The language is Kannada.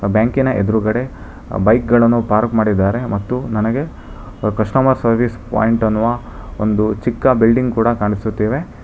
ಬ್ಯಾಂಕಿನ ಎದ್ರುಗಡೆ ಬೈಕ್ ಗಳನ್ನು ಪಾರ್ಕ್ ಮಾಡಿದ್ದಾರೆ ಮತ್ತು ನನಗೆ ಕಸ್ಟಮರ್ ಸರ್ವೀಸ್ ಪಾಯಿಂಟ್ ಅನ್ನುವ ಒಂದು ಚಿಕ್ಕ ಬಿಲ್ಡಿಂಗ್ ಕೂಡ ಕಾಣಿಸುತ್ತಿವೆ.